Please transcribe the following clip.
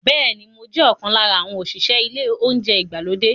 Bẹ́ẹ̀ ni, mo jẹ́ ọ̀kan lára àwọn òṣìṣẹ́ ilé oúnjẹ ìgbàlódé yìí.